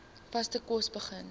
vaste kos begin